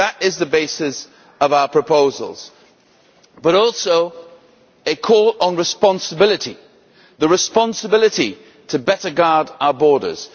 That is the basis of our proposals, but also a call on responsibility the responsibility to better guard our borders